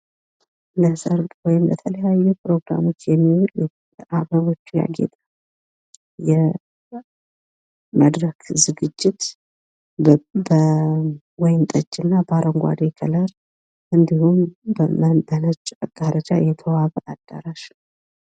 ለሰርግ ወይም ለተለያዩ ፕሮግራሞች የሚውል በአበቦች ያጌጠ የመድረክ ዝግጅት በወይንጠጅ እና በአረንጓዴ ከለር እንዲሁም በነጭ መጋረጃ የተዋበ አዳራሽ።